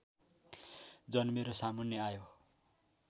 जन्मेर सामुन्ने आयो